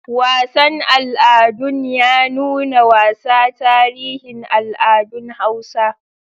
Wasan al'adun ya nuna wasa tarihin al'adun Hausa.